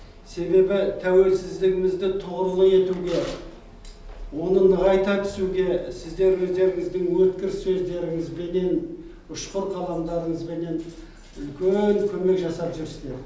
себебі тәуелсіздігімізді тұғырлы етуге оны нығайта түсуге сіздер өздеріңіздің өткір сөздеріңізбенен ұшқыр қаламдарыңызбенен үлкен көмек жасап жүрсіздер